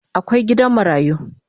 Akwai gidan marayu